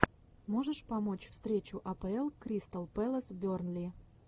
можешь помочь встречу апл кристал пэлас бернли